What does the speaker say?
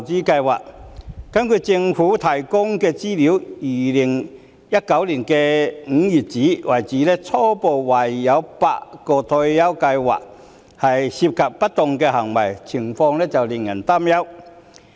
根據政府提供的資料，截至2019年5月，初步懷疑有8項退休計劃涉及不當行為，情況令人擔憂。